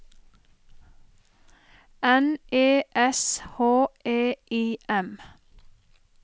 N E S H E I M